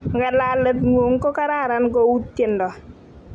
ng'alalet ng'un ko kararan ku tiendo